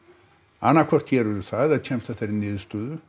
annað hvort gerirðu það eða kemst að þeirri niðurstöðu